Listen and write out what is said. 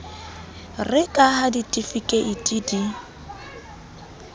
re ka ha ditifikeiti di